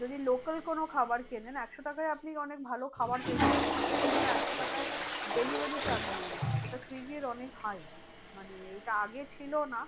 যদি local কোনো খাবার কেনেন একশো টাকায় আপনি অনেক ভালো খাবার পেয়ে যেতে পারেন। সেখানে ওরা একশো টাকায় delivery charge নিয়ে নেয়। সেটা সুইগীর অনেক high মানে এইটা আগে ছিল না